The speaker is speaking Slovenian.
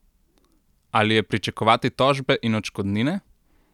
Ali je pričakovati tožbe in odškodnine?